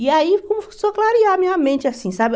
E aí começou a clarear a minha mente assim, sabe?